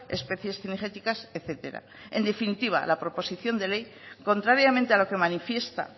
especies cinegéticas etcétera en definitiva la proposición de ley contrariamente a lo que manifiesta